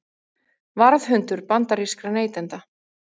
Varðhundur bandarískra neytenda